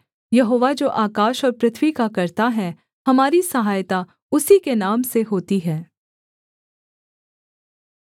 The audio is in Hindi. यहोवा जो आकाश और पृथ्वी का कर्ता है हमारी सहायता उसी के नाम से होती है